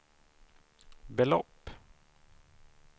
belopp